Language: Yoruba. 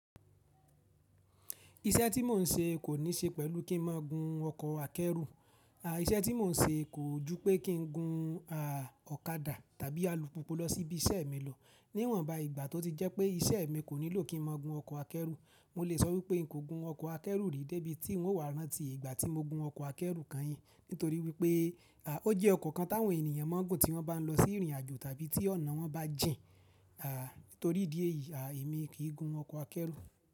Iṣẹ́ tí mò ń ṣe kò ní ṣe pẹ̀lú kí n máa gun ọkọ̀ akẹ́rù. Iṣẹ́ tí mò ń ṣe kò ju pé kí n gun ọ̀kadà tàbí alùpùpù lọ sí ibi iṣẹ́ mi lọ. Níwọ́n ba ìgbà tó ti jẹ́ pé iṣẹ́ mi kò nílò kí n máa gun ọkọ̀ akẹ́rù, mò lè sọ wípé n kò gun ọkọ̀ akẹ́rù rí dé ibi tí n wà rán tí ìgbà tí mo gun ọkọ̀ akẹ́rù kányìn. Nítorí wípé o jẹ́ ọkọ̀ kan táwọn ènìyàn máa ń gun tí wọ́n bá ń lọ sí ìrìnàjò tàbí tí ọ̀nà wọn bá jìn. Nítorí ìdí èyí, èmi kì í gun ọkọ̀ akẹ́rù.